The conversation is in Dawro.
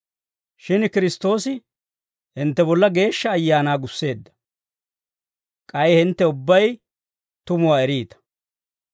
Shin Kiristtoosi hintte bolla Geeshsha Ayaanaa gusseedda; k'ay hintte ubbay tumuwaa eriita.